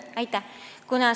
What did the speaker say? Aitäh!